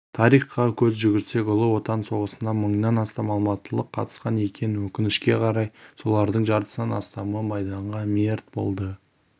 тарихқа көз жүгіртсек ұлы отан соғысына мыңнан астам алматылық қатысқан екен өкінішке қарай солардың жартысынан астамы майданда мерт болды